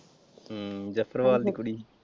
ਹਮ ਜਸੜਵਾਲ ਦੀ ਕੁੜੀ।